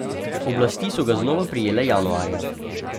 Oblasti so ga znova prijele januarja.